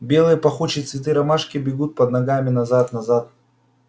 белые пахучие цветы ромашки бегут под ногами назад назад